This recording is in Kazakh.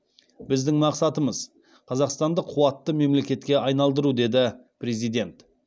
біздің мақсатымыз қазақстанды қуатты мемлекетке айналдыру деді президент